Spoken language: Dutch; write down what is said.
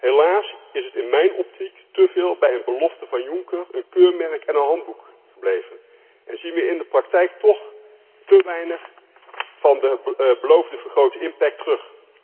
Helaas is het in mijn optiek te veel bij een belofte van Juncker, een keurmerk en een handboek gebleven en zien we in de praktijk toch te weinig van de beloofde vergrote impact terug.